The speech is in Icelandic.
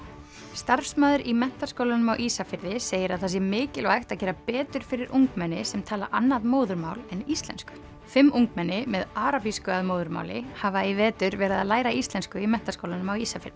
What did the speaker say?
starfsmaður í Menntaskólanum á Ísafirði segir að það sé mikilvægt að gera betur fyrir ungmenni sem tala annað móðurmál en íslensku fimm ungmenni með arabísku að móðurmáli hafa í vetur verið að læra íslensku í Menntaskólanum á Ísafirði